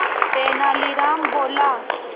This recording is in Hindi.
तेनालीराम बोला